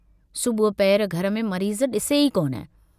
सुबह पहर घर में मरीज़ डिसे ई कोन।